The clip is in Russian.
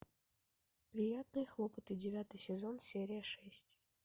приятные хлопоты девятый сезон серия шесть